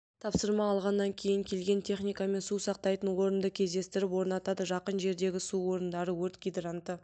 тапсырма алғаннан кейін келген техникамен су сақтайтын орынды кездестіріп орнатады жақын жердегі су орындары өрт гидранты